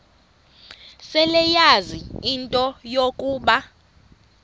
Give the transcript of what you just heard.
seleyazi into yokuba